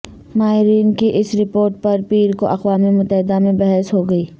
ماہرین کی اس رپورٹ پر پیر کو اقوام متحدہ میں بحث ہوگی